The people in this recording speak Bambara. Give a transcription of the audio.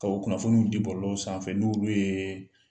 Bawo kunnafoniw di bɔlɔlɔw sanfɛ n'olu yee